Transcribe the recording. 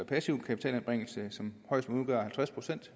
passiv kapitalanbringelse som højst må udgøre halvtreds procent